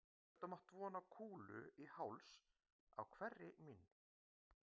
Við gátum átt von á kúlu í háls á hverri mín